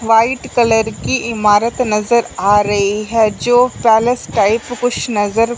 white colour की इमारत नजर आ रही हैं जो पैलेस टाइप कुछ नजर--